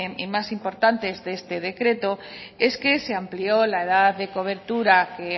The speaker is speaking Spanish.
y más importantes de este decreto es que se amplió la edad de cobertura que